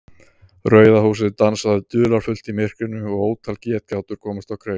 Rauða húsið dansaði dularfullt í myrkrinu og ótal getgátur komust á kreik.